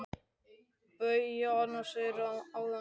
BAUJA: Annað sagðirðu áðan, Jói minn.